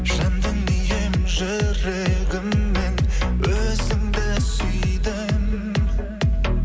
жан дүнием жүрегіммен өзіңді сүйдім